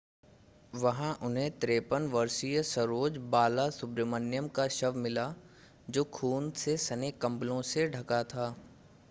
वहां उन्हें 53 वर्षीय सरोज बालासुब्रमण्यम का शव मिला जो खून से सने कंबलों से ढका था